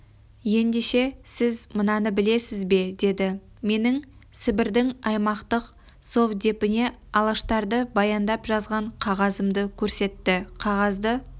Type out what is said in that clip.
ендеше сіз мынаны білесіз бе деді менің сібірдің аймақтық совдепіне алаштарды баяндап жазған қағазымды көрсетті қағазды